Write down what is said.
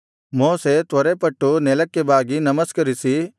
ಮೋಶೆ ತ್ವರೆಪಟ್ಟು ನೆಲಕ್ಕೆ ಬಾಗಿ ನಮಸ್ಕರಿಸಿ